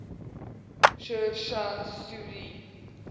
sher shah suri